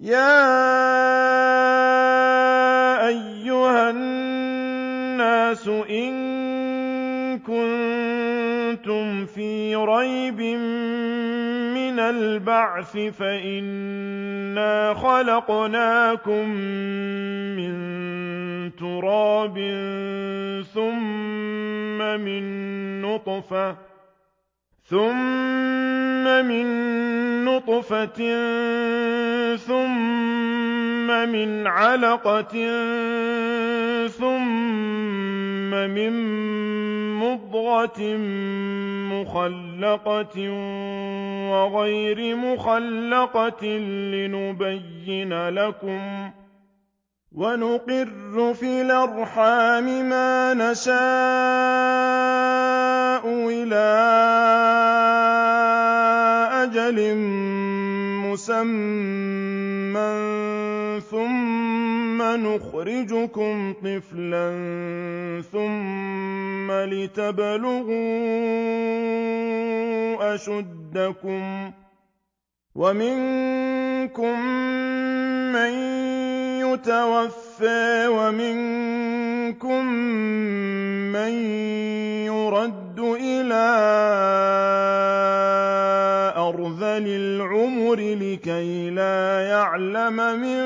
يَا أَيُّهَا النَّاسُ إِن كُنتُمْ فِي رَيْبٍ مِّنَ الْبَعْثِ فَإِنَّا خَلَقْنَاكُم مِّن تُرَابٍ ثُمَّ مِن نُّطْفَةٍ ثُمَّ مِنْ عَلَقَةٍ ثُمَّ مِن مُّضْغَةٍ مُّخَلَّقَةٍ وَغَيْرِ مُخَلَّقَةٍ لِّنُبَيِّنَ لَكُمْ ۚ وَنُقِرُّ فِي الْأَرْحَامِ مَا نَشَاءُ إِلَىٰ أَجَلٍ مُّسَمًّى ثُمَّ نُخْرِجُكُمْ طِفْلًا ثُمَّ لِتَبْلُغُوا أَشُدَّكُمْ ۖ وَمِنكُم مَّن يُتَوَفَّىٰ وَمِنكُم مَّن يُرَدُّ إِلَىٰ أَرْذَلِ الْعُمُرِ لِكَيْلَا يَعْلَمَ مِن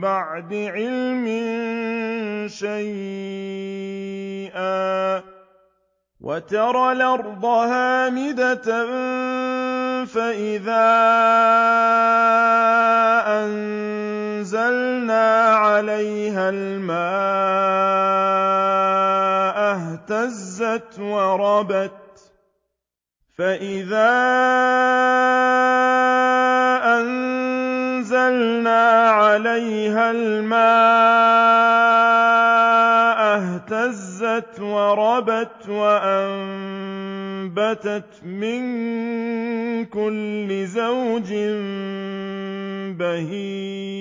بَعْدِ عِلْمٍ شَيْئًا ۚ وَتَرَى الْأَرْضَ هَامِدَةً فَإِذَا أَنزَلْنَا عَلَيْهَا الْمَاءَ اهْتَزَّتْ وَرَبَتْ وَأَنبَتَتْ مِن كُلِّ زَوْجٍ بَهِيجٍ